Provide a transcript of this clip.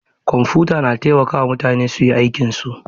Kwamfuta na taimaka wa mutane su yi aikinsu.